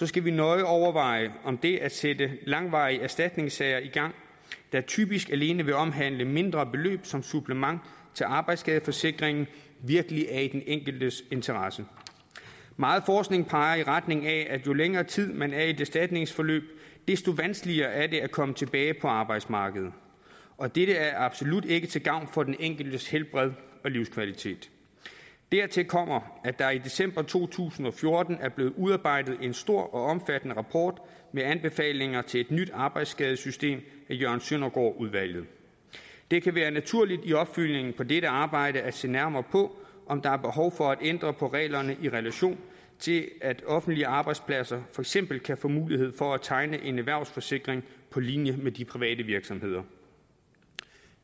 skal vi nøje overveje om det at sætte langvarige erstatningssager i gang der typisk alene vil omhandle mindre beløb som supplement til arbejdsskadeforsikringen virkelig er i den enkeltes interesse meget forskning peger i retning af at jo længere tid man er i et erstatningsforløb desto vanskeligere er det at komme tilbage på arbejdsmarkedet og dette er absolut ikke til gavn for den enkeltes helbred og livskvalitet dertil kommer at der i december to tusind og fjorten blev udarbejdet en stor og omfattende rapport med anbefalinger til et nyt arbejdsskadesystem af jørgen søndergaard udvalget det kan være naturligt i opfølgningen på dette arbejde at se nærmere på om der er behov for at ændre på reglerne i relation til at offentlige arbejdspladser for eksempel kan få mulighed for at tegne en erhvervsforsikring på linje med de private virksomheder